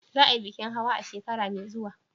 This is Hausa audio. Za a yi bikin hawa a shekara mai zuwa?